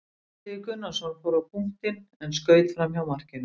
Illugi Gunnarsson fór á punktinn en skaut framhjá markinu.